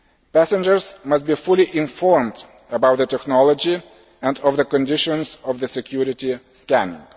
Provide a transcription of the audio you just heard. Passengers must be fully informed about the technology and of the conditions of the security scanning.